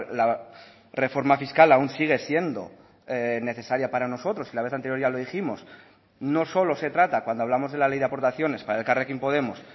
la reforma fiscal aún sigue siendo necesaria para nosotros y la vez anterior ya lo dijimos no solo se trata cuando hablamos de la ley de aportaciones para elkarrekin podemos